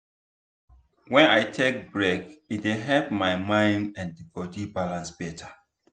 when i take break e dey help my mind and body balance better.